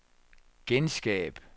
genskab